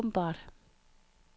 åbenbart